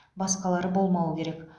басқалары болмауы керек